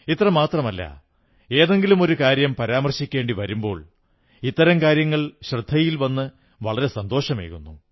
ഇത്രമാത്രമല്ല ഏതെങ്കിലുമൊരു കാര്യം പരാമർശിക്കേണ്ടി വരുമ്പോൾ ഇത്തരം കാര്യങ്ങൾ ശ്രദ്ധയിൽ വന്ന് വളരെ സന്തോഷമേകുന്നു